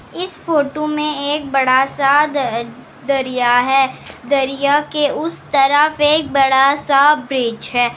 इस फोटो में एक बड़ा सा द दरिया है दरिया के उस तरफ एक बड़ा सा ब्रिज है।